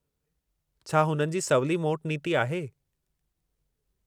छा हुननि जी सवली मोट नीती आहे।